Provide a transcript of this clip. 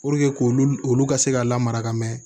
Puruke k'olu olu ka se ka lamara ka mɛɛn